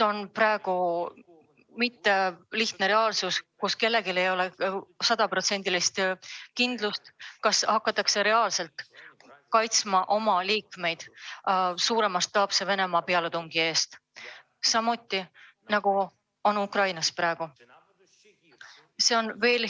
Praegune olukord ei ole lihtne, kellelgi ei ole sajaprotsendilist kindlust, kas hakatakse oma liikmeid reaalselt kaitsma Venemaa mastaapse pealetungi eest, nagu praegu Ukrainas.